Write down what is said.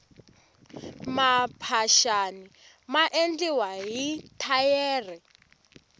maphaxani ya endliwa hi mathayere